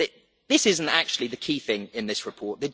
that is not actually the key thing in this report.